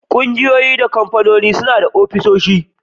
Ƙungiyoyi da kamfanoni da yawa suna da ofisoshi